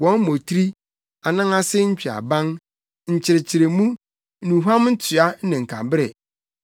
Wɔn mmotiri, anan ase ntweaban, nkyekyeremu, nnuhuam ntoa ne nkabere,